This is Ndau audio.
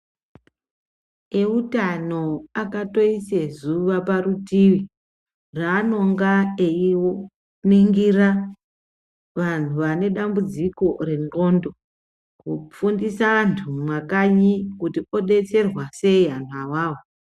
Eutano akatoise zuva parutivi raanonga einingira vanhu vanedambudziko rendxondo. Kufundisa antu mumakanyi kuti odetserwa sei anhu awawo